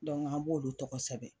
an b'olu tɔgɔ sɛbɛn